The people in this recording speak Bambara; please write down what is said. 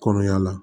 Kɔnɔmaya la